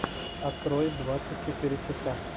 открой двадцать четыре часа